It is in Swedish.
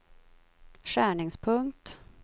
skärningspunkt